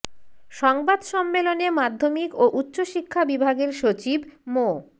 সংবাদ সম্মেলনে মাধ্যমিক ও উচ্চ শিক্ষা বিভাগের সচিব মো